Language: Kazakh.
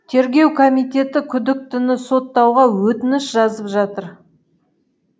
тергеу комитеті күдіктіні соттауға өтініш жазып жатыр